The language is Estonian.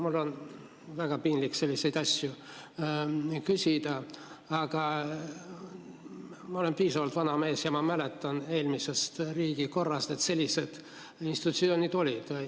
Mul on väga piinlik selliseid asju küsida, aga ma olen piisavalt vana mees ja ma mäletan eelmisest riigikorrast, et sellised institutsioonid olid olemas.